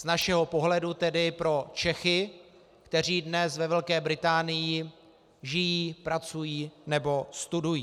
Z našeho pohledu tedy pro Čechy, kteří dnes ve Velké Británii žijí, pracují nebo studují.